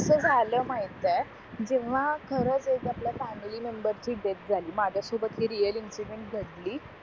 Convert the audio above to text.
कस झालं माहिते जेव्हा खर आपल्या फॅमिली मेम्बर ची डेथ झाली माझ्या सोबत हे रिअल इंसिडेन्ट घडली